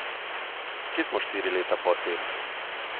Kje smo štiri leta po tem?